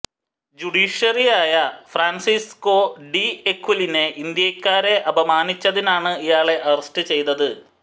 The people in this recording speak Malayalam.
ജുഡീഷ്യറിയായ ഫ്രാൻസിസ്കോ ഡി എസ്ക്വിവലിനെ ഇന്ത്യക്കാരെ അപമാനിച്ചതിനാണ് ഇയാളെ അറസ്റ്റ് ചെയ്തത്